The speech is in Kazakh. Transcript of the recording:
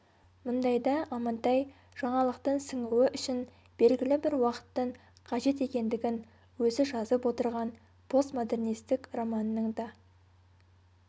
мұндайда амантай жаңалықтың сіңуі үшін белгілі бір уақыттың қажет екендігін өзі жазып отырған постмодернистік романның да